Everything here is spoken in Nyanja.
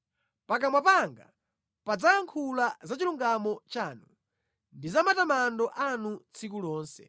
Pakamwa panga padzayankhula za chilungamo chanu ndi za matamando anu tsiku lonse.